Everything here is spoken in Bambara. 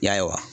Ya